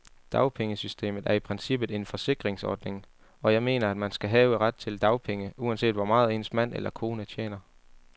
Dagpengesystemet er i princippet en forsikringsordning, og jeg mener, at man skal have ret til dagpenge, uanset hvor meget ens mand eller kone tjener.